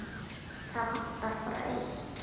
Það vantar bara eitt.